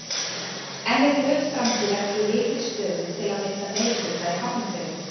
En er Björt framtíð ekki í lykilstöðu til að mynda meirihluta í Hafnarfirði?